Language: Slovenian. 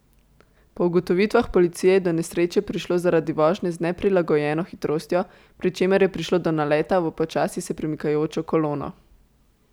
Po ugotovitvah policije je do nesreče prišlo zaradi vožnje z neprilagojeno hitrostjo, pri čemer je prišlo do naleta v počasi se premikajočo kolono.